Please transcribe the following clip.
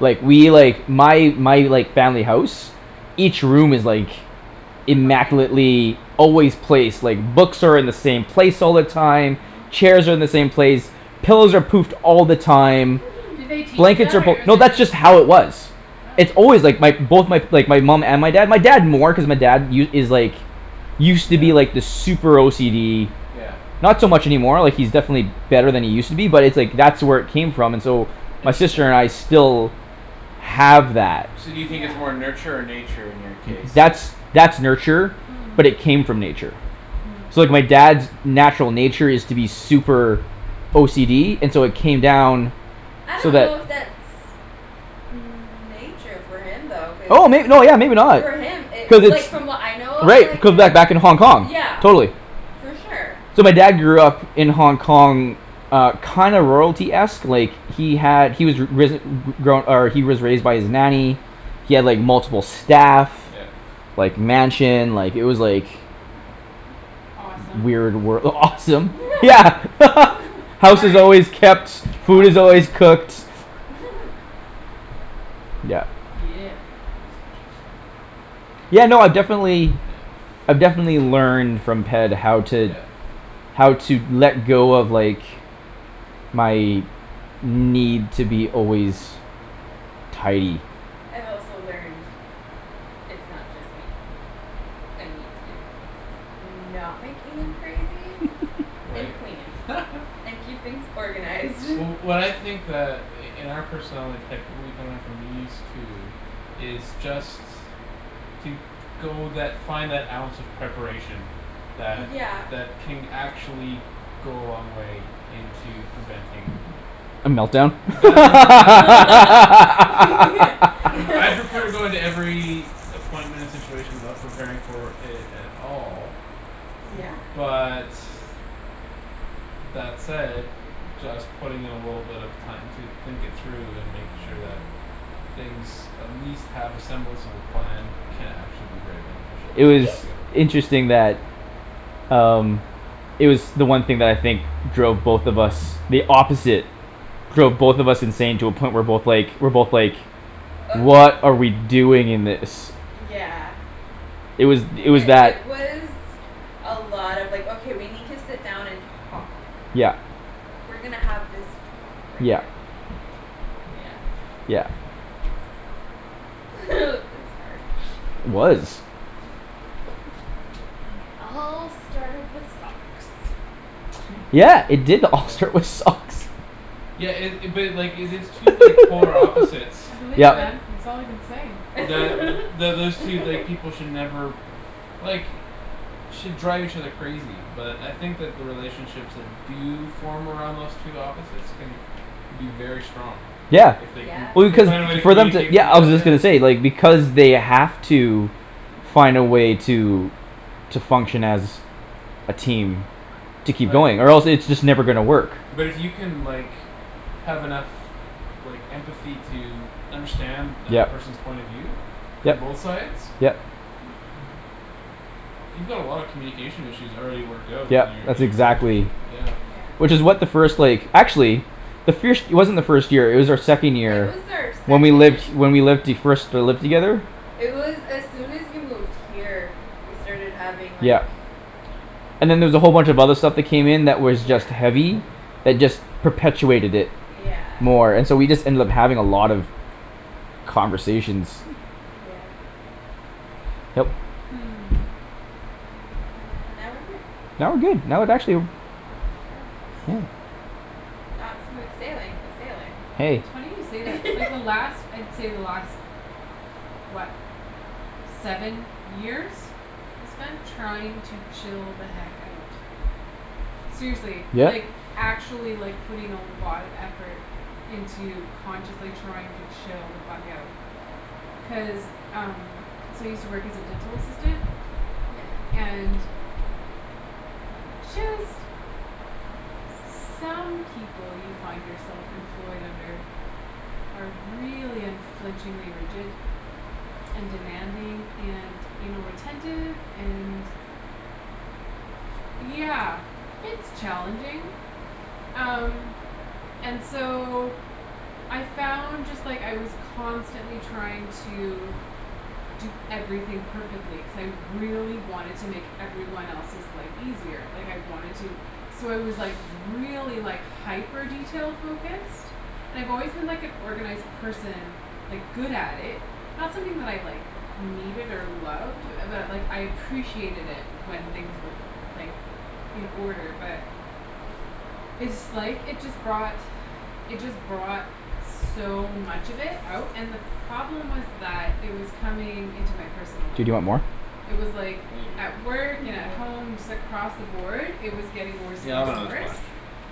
Like, we, like my, my, like, family house each room is, like Perfect. immaculately always placed, like, books are in the same place all the time Mhm. chairs are in the same place pillows are poofed all the time Did they teach you blankets that are fol- or is No, it that's just just how it was. It's Oh. always, like, my both, my, like, my mom and my dad, my dad more cuz my dad u- is like used to be, Yeah. like, this super OCD Yeah. not so much any more, like, he's definitely Yeah. better than he used to be, but it's like that's where it came from, and so my sister and I still have that. So do you think Yeah. it's more nurture or nature in your case That's, that's that's nurture Hmm. but it came from nature. Hmm. So, like, my dad's natural nature is to be super OCD, and so it came down I so don't know that if that's nature for him though, cuz oh may- no, yeah, maybe not. for him it, Cuz like, it's from what I know of, Right, it like, could him, back, back in Hong Kong, yeah. totally. For sure. So my dad grew up in Hong Kong uh, kinda royalty-esque, like he had, he was ri- risen, re- grown, or he was raised by his nanny he had, like, multiple staff Yeah. like, mansion, like, it was like Mhm. Awesome. weird wor- awesome. Yeah. House is Sorry. always kept, food is Awesome. always cooked. Yeah. Yeah. That's interesting. Yeah, no, I definitely. Yeah. I've definitely learned from Ped how to Yeah. how to let go of, like my need to be always tidy. I've also learned it's not just me. I need to not make Ian crazy and Right. clean and keep things organized. Wh- what I think that i- in our personality, Ped, we can learn from these two is just to go that, find that ounce of preparation that, Yeah. that can actually go a long way into preventing A melt down? right? I prefer to go into every appointment and situation without preparing for it at all Yeah. but that said just putting in a little bit of time to think it through and make sure that things at least have a semblance of a plan can actually be very beneficial, It I See? was discovered. interesting that um It was the one thing that I think drove both of us the opposite drove both of us insane to a point we're both like, we're both like Of m- "What are we doing in this?" yeah. It was, It, it was it, that. it was a lot of, like, "Okay, we need to sit down and talk." Yeah. "We're gonna have this talk right Yeah. now." Yeah. Yeah. Is It was hard. It was. And it all started with socks. Hm. Yeah, it did all Yeah? start with socks. Yeah it- it, but, like, if it's two, like polar opposites I believe it that Yep. man. It's all I can say. that th- those two, like, people should never like should drive each other crazy but I think that the relationships that do form around those two opposites can be very strong, like, Yeah. if they can, Yeah. if Well, they find a way to because for them to, communicate yeah, through I that. was just gonna say, like, because they have to find a way to to function as a team to keep Right. going or else it's just never gonna work. But it you can, like have enough like empathy to understand that Yep. person's point of view from Yep, both sides yep. you've got a lot of communication issues already worked out in Yep, your, in that's your relationship, exactly yeah. Yeah. Which is what the first, like, actually the firsht it wasn't our first year; it was our second It year was our when we second. lived, when we lived the, first, uh, lived together. It was as soon as you moved here. We started having like Yeah. And then there was a whole bunch of other stuff that came in that was Yeah. just heavy. That just perpetuated it Yeah. more and so we just ended up having a lot of conversations. Yeah. Yep. Hmm. And now we're here. Now we're good. I would actually Not smooth sailing but sailing. Hey. It's funny you say that. Like, the last, I'd say the last what seven years I spent trying to chill the heck out. Seriously, Yeah. like actually, like, putting a lot of effort into consciously trying to chill the fuck out. Cuz um So I use to work as a dental assistant Yeah. and just some people you find yourself employed under are really unflinchingly rigid and demanding and anal retentive and yeah, it's challenging. Um. And so I found just, like, I was constantly trying to do everything perfectly cuz I really wanted to make every one else's life easier like I wanted to so I was, like, really, like hyper detail-focused and I've always been like an organized person like, good at it not something that I, like needed or loved but, like, I appreciated it when things were, like in order but it's, like, it just brought it just brought so much of it out and the problem was that it was coming into my personal life. Dude, you want more? It was like maybe at work and at home just across the board, it was getting worse Yeah, and I'll worse have and another worse. splash.